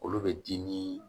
Olu bɛ dimi